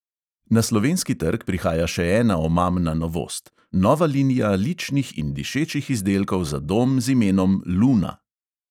Na slovenski trg prihaja še ena omamna novost – nova linija ličnih in dišečih izdelkov za dom z imenom luna.